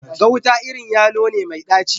Gauta irin yalo ne mai dacci.